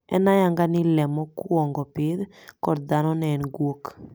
En ayanga ni ni le mokwongo pidh kod dhano ne en guok.